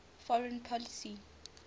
foreign policy